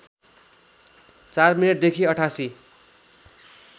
४ minute देखि ८८